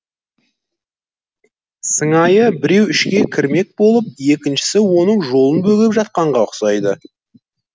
сыңайы біреу ішке кірмек болып екіншісі оның жолын бөгеп жатқанға ұқсайды